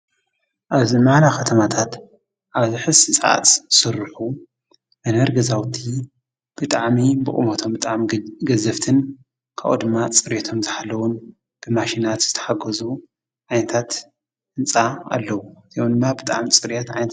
ኣብዚ ማራኺ ኸተማታት ኣብዝ ሕዚ ሰዓት ዝስርኁ መንበሪ ገዛውቲ ብጣዓሚ ብቑሙቶም ብጣዕሚ ገዘፍትን ካብኡድማ ጽሬየቶም ዝሓለዉን ብማሽናት ዘተሓጐዙ ዓይነታት ህንፃ ኣለዉ እዚኦም ድማ ብጣዕሚ ጽርየት ኣለዎም።